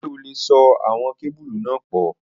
Ṣe o le so awọn kebulu pọ?